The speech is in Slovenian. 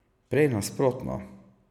Prej nasprotno.